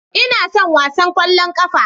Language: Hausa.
Ina son wasan ƙwallon ƙafa